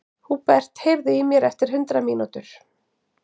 Húbert, heyrðu í mér eftir hundrað mínútur.